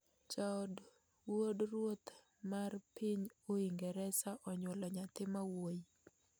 Jaod wuod Ruoth mr piny Uingereza onyuolo nyathi ma wuoyi